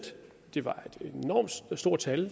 det var et enormt stort tal